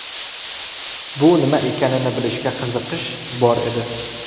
Bu nima ekanini bilishga qiziqish bor edi.